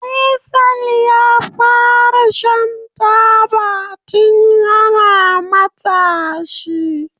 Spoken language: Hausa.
Faisal yafara shan taba tun yana matashi.